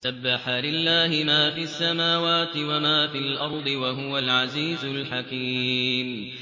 سَبَّحَ لِلَّهِ مَا فِي السَّمَاوَاتِ وَمَا فِي الْأَرْضِ ۖ وَهُوَ الْعَزِيزُ الْحَكِيمُ